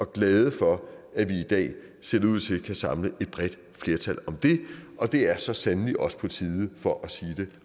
glade for at der i dag ser det ud til kan samles et bredt flertal om det og det er så sandelig også på tide for at sige det